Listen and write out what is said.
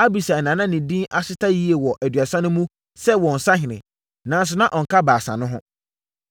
Abisai na na ne din ahyeta yie wɔ Aduasa no mu sɛ wɔn sahene, nanso na ɔnka Baasa no ho.